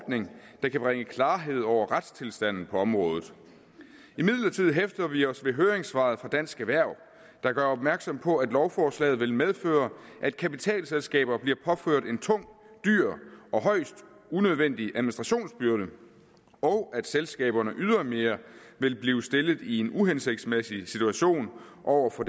ordning der kan bringe klarhed over retstilstanden på området imidlertid hæfter vi os ved høringssvaret fra dansk erhverv der gør opmærksom på at lovforslaget vil medføre at kapitalselskaber bliver påført en tung dyr og højst unødvendig administrationsbyrde og at selskaberne ydermere vil blive stillet i en uhensigtsmæssig situation over for